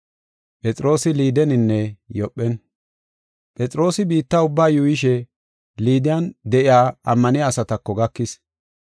Phexroosi biitta ubba yuuyishe Liiden de7iya ammaniya asatako gakis.